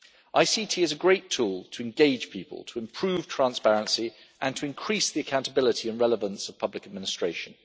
ICT is a great tool to engage people, to improve transparency and to increase the accountability and relevance of public administration.